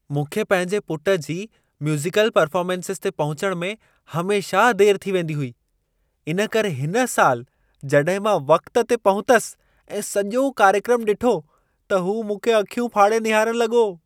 मूंखे पंहिंजे पुटु जी म्यूज़िकल परफ़ार्मेंसनि ते पहुचणु में हमेशा देरि थी वेंदी हुई। इन करे इन साल जॾहिं मां वक़्त ते पहुतुसि ऐं सॼो कार्यक्रम ॾिठो, त हू मूंखे अखियूं फाड़े निहारणु लॻो